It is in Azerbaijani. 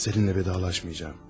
Səninlə vidalaşmayacağam.